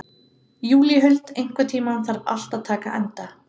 Júlíhuld, einhvern tímann þarf allt að taka enda.